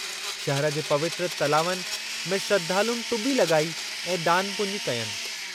शहिर जे पवित्र तलावनि में श्रधालुनि टुॿी लॻाई ऐं दानु पुञु कयनि।